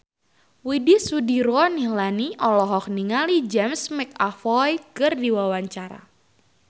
Widy Soediro Nichlany olohok ningali James McAvoy keur diwawancara